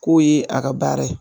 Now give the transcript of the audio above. K'o ye a ka baara ye